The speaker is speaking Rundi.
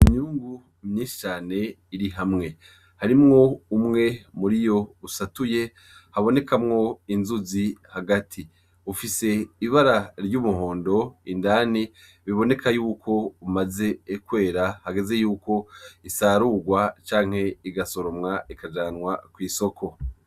Imyungu myinshi cane iri hamwe, harimwo umwe muriyo usatuye habonekamwo inzuzi hagati, ufise ibara ry'umuhondo indani, biboneka yuko umaze kwera, hageze yuko isarurwa canke igasoromwa ikajanwa kw'isoko.